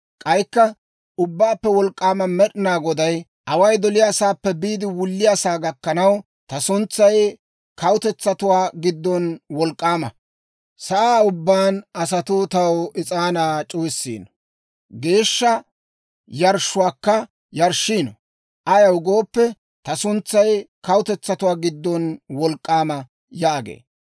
K'aykka Ubbaappe Wolk'k'aama Med'ina Goday, «Away doliyaasaappe biide wulliyaasaa gakkanaw, ta suntsay kawutetsatuwaa giddon wolk'k'aama. Sa'aa ubbaan asatuu taw is'aanaa c'uwissiino; geeshsha yarshshuwaakka yarshshiino; ayaw gooppe, ta suntsay kawutetsatuwaa giddon wolk'k'aama» yaagee.